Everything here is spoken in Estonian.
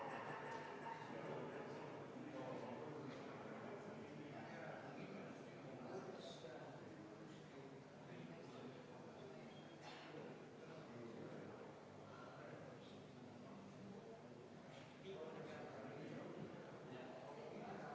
Austatud Riigikogu, panen hääletusele muudatusettepaneku nr 2, mille on esitanud Isamaa fraktsioon ja mille juhtivkomisjon jättis arvestamata.